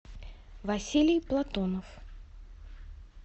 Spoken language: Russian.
василий платонов